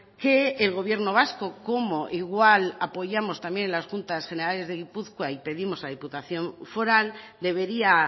que el gobierno vasco como igual apoyamos también en las juntas generales de gipuzkoa y pedimos a diputación foral debería